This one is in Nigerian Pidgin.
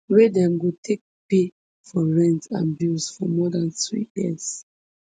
wey dem go take pay for rent and bills for more dan two years